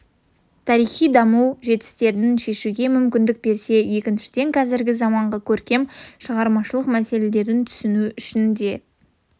тарихи даму жетістіктерін шешуге мүмкіндік берсе екіншіден қазіргі заманғы көркем шығармашылық мәселелерін түсіну үшін де